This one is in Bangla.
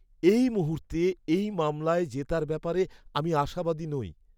এই মুহূর্তে এই মামলায় জেতার ব্যাপারে আমি আশাবাদী নই।